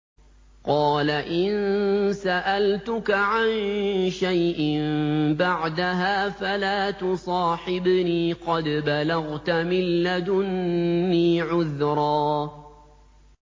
قَالَ إِن سَأَلْتُكَ عَن شَيْءٍ بَعْدَهَا فَلَا تُصَاحِبْنِي ۖ قَدْ بَلَغْتَ مِن لَّدُنِّي عُذْرًا